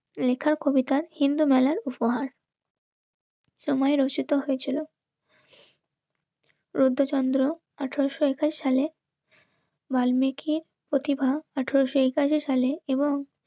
লেখার কবিতা হিন্দু মেলার উপহার. তোমায় রচিত হয়েছিল. রুদ্র চন্দ্র, আঠারোশো একুশ সালে বাল মেঘের প্রতিভা আঠেরো সেই কাজে ফেলে এবং